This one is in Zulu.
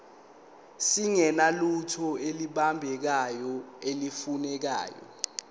singenalutho olubambekayo nolufanele